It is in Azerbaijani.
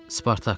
Spartak!